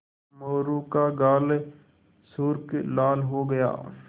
मोरू का गाल सुर्ख लाल हो गया